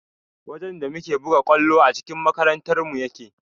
Wajen da muke buga ƙwallo a cikin makarantarmu yake